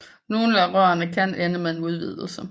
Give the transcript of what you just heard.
Nogle af rørene kan ende med en udvidelse